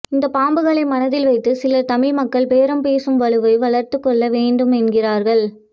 இந்த பாம்புகளை மனதில் வைத்து சிலர் தமிழ் மக்கள் பேரம் பேசும் வலுவை வளர்த்துக் கொள்ள வேண்டும் என்கிறார்கள்